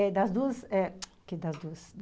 É das duas, é, que das duas.